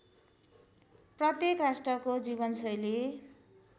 प्रत्येक राष्ट्रको जीवनशैली